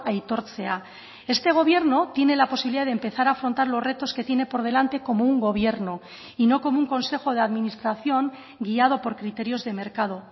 aitortzea este gobierno tiene la posibilidad de empezar a afrontar los retos que tiene por delante como un gobierno y no como un consejo de administración guiado por criterios de mercado